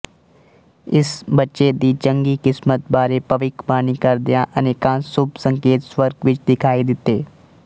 ਇਸ ਬੱਚੇ ਦੀ ਚੰਗੀ ਕਿਸਮਤ ਬਾਰੇ ਭਵਿੱਖਬਾਣੀ ਕਰਦਿਆਂ ਅਨੇਕਾਂ ਸ਼ੁਭ ਸੰਕੇਤ ਸਵਰਗ ਵਿਚ ਦਿਖਾਈ ਦਿੱਤੇ